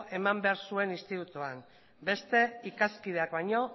eman behar zuen institutoan beste ikaskideak baino